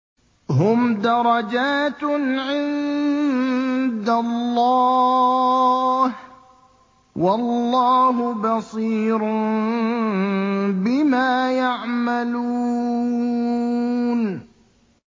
هُمْ دَرَجَاتٌ عِندَ اللَّهِ ۗ وَاللَّهُ بَصِيرٌ بِمَا يَعْمَلُونَ